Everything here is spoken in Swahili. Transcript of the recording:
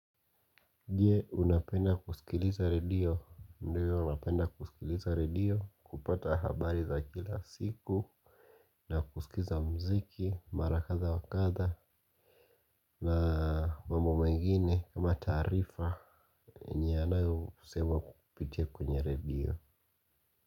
Je unapenda kusikiliza radio, ndio napenda kusikiliza radio kupata habari za kila siku. Na kusikiza mziki, mara katha wakatha na mambo mengine kama tarifa yanayo semwa kupitia kwenye radio.